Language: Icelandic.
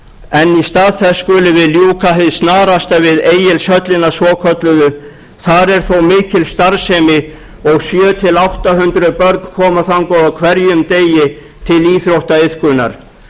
en í stað þess skulum við ljúka hið snarasta við egilshöllina svokölluðu þar er þó mikil starfsemi og sjö hundruð til átta hundruð börn koma þangað á hverjum degi til íþróttaiðkunar